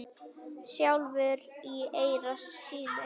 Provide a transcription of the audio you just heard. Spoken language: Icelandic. sjálfur í eyra syni?